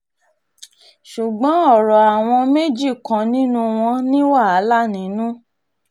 ṣùgbọ́n ọ̀rọ̀ àwọn um méjì kan nínú wọn ní wàhálà nínú